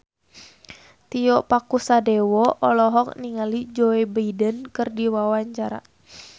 Tio Pakusadewo olohok ningali Joe Biden keur diwawancara